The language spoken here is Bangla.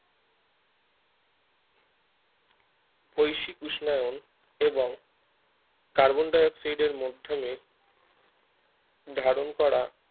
বৈশিক উষ্ণায়ন এবং কার্বনডাইঅক্সিডের মধ্যমে ধারণ করা